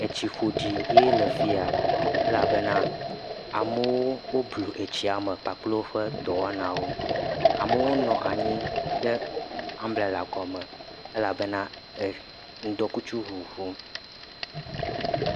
Etsi ƒoɖi ye le afi ya elebena amewo blu tsia me kpakple woƒe dɔwɔnawo. Amewo nɔ anyi ɖe ambrela gɔme elebena eh ŋuɖɔ kutsu ŋuŋum.